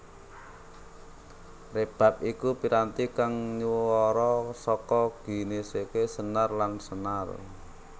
Rebab iku piranti kang nyuwara saka ginèsèké senar lan senar